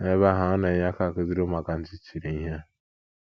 N’ebe ahụ, ọ na - enye aka akụziri ụmụaka ntị chiri ihe.